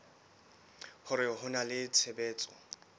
hore ho na le tshebetso